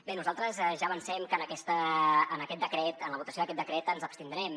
bé nosaltres ja avancem que en aquest decret en la votació d’aquest decret ens abstindrem